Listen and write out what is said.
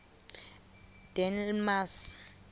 delmasi